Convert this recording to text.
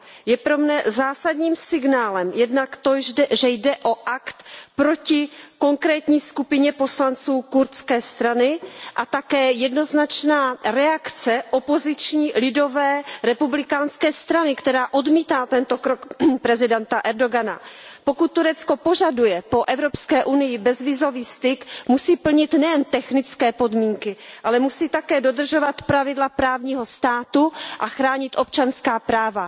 Je pro mne zásadním signálem jednak to, že jde o akt proti konkrétní skupině poslanců Kurdské strany, a také jednoznačná reakce opoziční Lidové republikánské strany, která odmítá tento krok prezidenta Erdogana. Pokud Turecko požaduje po Evropské unii bezvízový styk, musí plnit nejen technické podmínky, ale musí také dodržovat pravidla právního státu a chránit občanská práva.